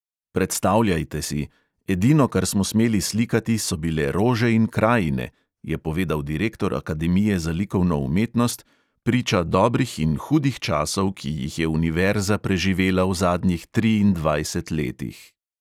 "Predstavljajte si: edino, kar smo smeli slikati, so bile rože in krajine," je povedal direktor akademije za likovno umetnost, priča dobrih in hudih časov, ki jih je univerza preživela v zadnjih triindvajset letih.